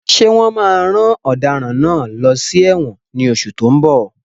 Ṣé wọn máa rán ọ̀daràn náà lọ sí ẹ̀wọ̀n ní oṣù tó ń bọ̀?